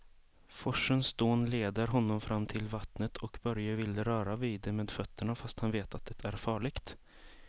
Forsens dån leder honom fram till vattnet och Börje vill röra vid det med fötterna, fast han vet att det är farligt.